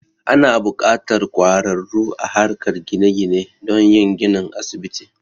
Ana buƙatar ƙwararru a harkar gine gine don yin ginin asibiti.